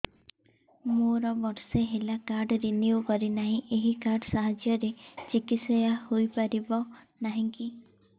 ମୋର ବର୍ଷେ ହେଲା କାର୍ଡ ରିନିଓ କରିନାହିଁ ଏହି କାର୍ଡ ସାହାଯ୍ୟରେ ଚିକିସୟା ହୈ ପାରିବନାହିଁ କି